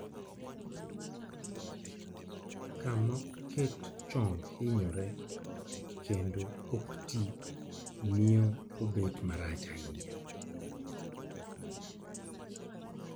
Kama oket chong' hinyore kendo ok tii mio obet marach ahinya